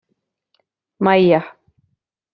Maja